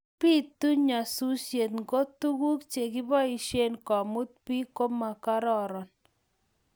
biitu nyasusiet ngo tuguuk chegiboishen komut biik ko magororon